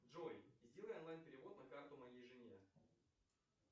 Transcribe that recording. джой сделай онлайн перевод на карту моей жене